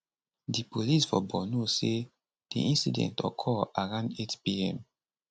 di police for borno say di incident occur around 8pm